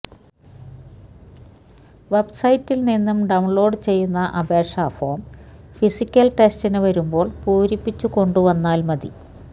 വെബ്സൈറ്റിൽനിന്നു download ചെയ്യുന്ന അപേക്ഷാഫോം physical ടെസ്റ്റിനു വരുമ്പോൾ പൂരിപ്പിച്ചു കൊണ്ടുവന്നാൽ മതി